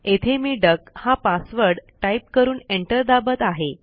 येथे मी डक हा पासवर्ड टाईप करून एंटर दाबत आहे